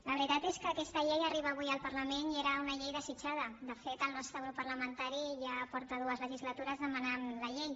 la veritat és que aquesta llei arriba avui al parlament i era una llei desitjada de fet el nostre grup parlamentari ja fa dues legislatures que demana la llei